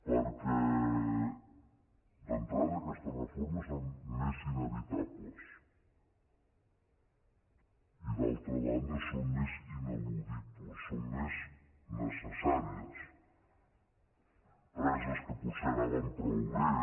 perquè d’entrada aquestes refor·mes són més inevitables i d’altra banda són més inal·ludibles són més necessàries empreses que potser anaven prou bé